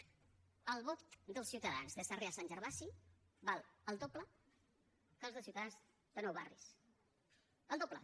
el vot dels ciutadans de sarrià sant gervasi val el doble que el dels ciutadans de nou barris el doble